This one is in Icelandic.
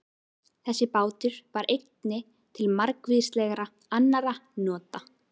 Þessi bátur var einnig til margvíslegra annarra nota.